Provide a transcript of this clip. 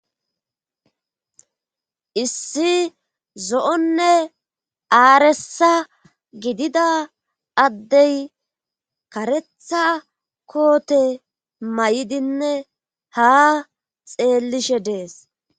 Issi zo'onne aaresa gidida addey karetha koote may7idinne ha xeellishe dees.